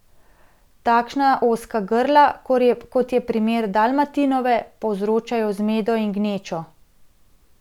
Takšna ozka grla, kot je primer Dalmatinove, povzročajo zmedo in gnečo.